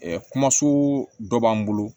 kɔɲɔso dɔ b'an bolo